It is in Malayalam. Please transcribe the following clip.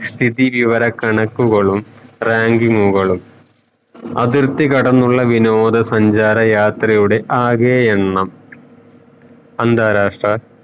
സ്ഥിതി വിവര കണക്കുകളും ranking ഉകളും അതിർത്തി കടന്നുള്ള വിനോദ സഞ്ചാര യാത്രയുടെ ആകെ എണ്ണം അന്താരാഷ്ട്ര